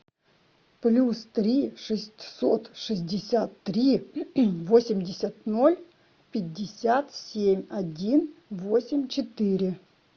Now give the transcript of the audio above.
плюс три шестьсот шестьдесят три восемьдесят ноль пятьдесят семь один восемь четыре